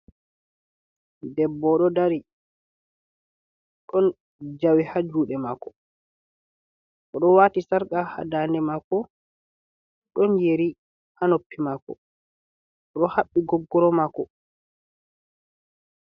Ɗebbo oɗo ɗari. Ɗon jawi hajuɗe mako. Oɗo wati sarka ha ɗanɗe mako. Ɗon yeri ha noppi mako. oɗo habbi goggoro mako.